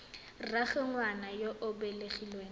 rraagwe ngwana yo o belegweng